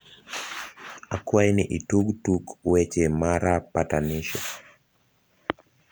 akwai ni I tug tuk weche mara patanisho